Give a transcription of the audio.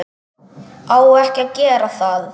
Á ekki að gera það.